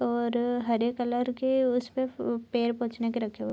और अ हरे कलर के उसपे पैर पोछने के रखे हुए हैं ।